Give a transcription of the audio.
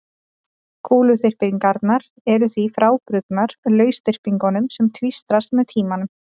Kúluþyrpingarnar eru því frábrugðnar lausþyrpingum sem tvístrast með tímanum.